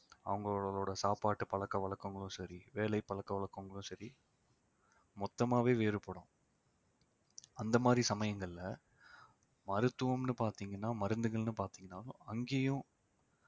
அவங்களோட சாப்பாட்டு பழக்க வழக்கங்களும் சரி வேலை பழக்க வழக்கங்களும் சரி மொத்தமாவே வேறுபடும் அந்த மாதிரி சமயங்கள்ல மருத்துவம்ன்னு பாத்தீங்கன்னா மருந்துகள்ன்னு பாத்தீங்கன்னா அங்கயும்